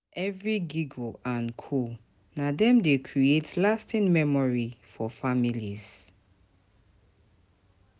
Every giggle and coo na dem dey creat lasting memory for families.